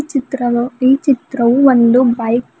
ಚಿತ್ರವು ಈ ಚಿತ್ರವು ಒಂದು ಬೈಕ್ --